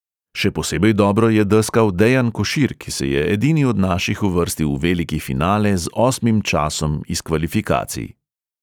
Še posebej dobro je deskal dejan košir, ki se je edini od naših uvrstil v veliki finale z osmim časom iz kvalifikacij.